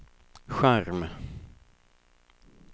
skärm